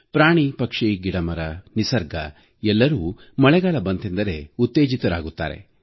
ಪ್ರಾಣಿ ಪಕ್ಷಿ ಗಿಡಮರ ನಿಸರ್ಗ ಎಲ್ಲರೂ ಮಳೆಗಾಲ ಬಂತೆಂದರೆ ಉತ್ತೇಜಿತರಾಗುತ್ತಾರೆ